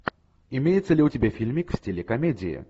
имеется ли у тебя фильмик в стиле комедия